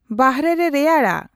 ᱵᱟᱦᱚᱨᱮᱨᱮ ᱨᱮᱭᱟᱲᱟ